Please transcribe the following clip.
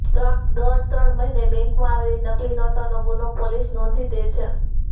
દર ત્રણ મહિને બેંકમાં આવેલી નકલી નોટોનો ગુનો પોલીસ નોંધી દે છે